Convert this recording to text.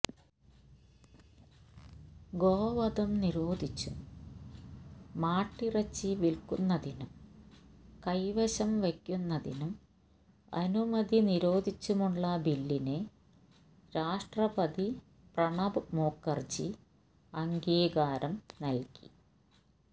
ഗോവധം നിരോധിച്ചും മാട്ടിറച്ചി വിൽക്കുന്നതിനും കൈവശം വയ്ക്കുന്നതിനും അനുമതി നിരോധിച്ചുമുള്ള ബില്ലിന് രാഷ്ട്രപതി പ്രണബ് മുഖർജി അംഗീകാരം നൽകി